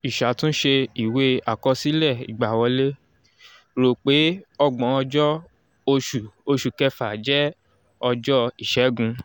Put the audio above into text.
ìṣàtúnṣe ìwé àkọsílẹ̀ ìgbàwọlé: rò pé ọgbọ́n-ọjọ́ oṣù oṣù kẹfà jẹ́ ọjọ́ ìṣẹ́gun